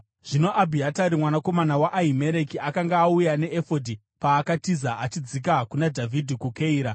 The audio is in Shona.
(Zvino Abhiatari mwanakomana waAhimereki akanga auya neefodhi paakatiza achidzika kuna Dhavhidhi kuKeira.)